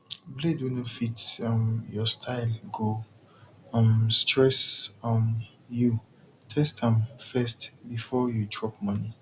blade wey no fit um your style go um stress um you test am first before you drop money